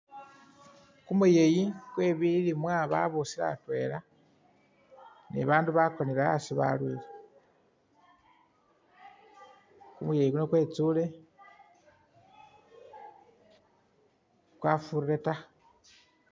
Kumuyeyi kwe'bilimwa babusile atwela ,ne bandu bakonele asi balwile ,kumuyeyi kunu kwetsule kwafurire ta